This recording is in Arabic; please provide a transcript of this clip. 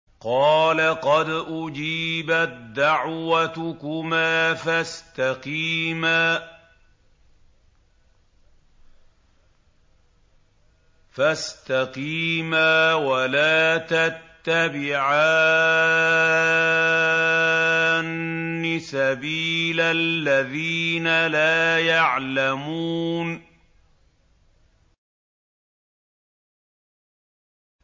قَالَ قَدْ أُجِيبَت دَّعْوَتُكُمَا فَاسْتَقِيمَا وَلَا تَتَّبِعَانِّ سَبِيلَ الَّذِينَ لَا يَعْلَمُونَ